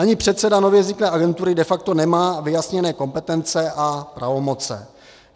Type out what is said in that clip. Ani předseda nově vzniklé agentury de facto nemá vyjasněné kompetence a pravomoci.